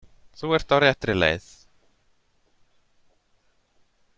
Þú ert á réttri leið.